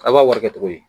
A b'a wari kɛ cogo di